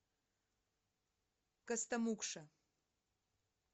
костомукша